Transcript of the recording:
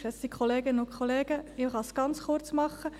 Ich kann es ganz kurz machen.